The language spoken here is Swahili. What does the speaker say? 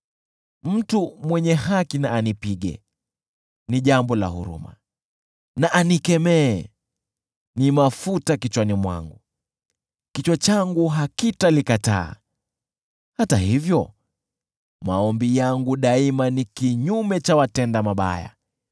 Mtu mwenye haki na anipige: ni jambo la huruma; na anikemee: ni mafuta kichwani mwangu. Kichwa changu hakitalikataa. Hata hivyo, maombi yangu daima ni kinyume cha watenda mabaya,